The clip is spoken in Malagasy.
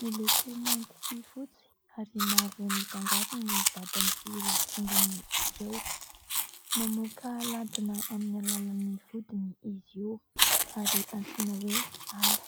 miloko mainty sy fotsy, ary mavo mifangaro ny vatany sy ireo tongony ireo. Mamoaka lady amin'ny alalan'ny vodiny izy io ary antsoina hoe hala.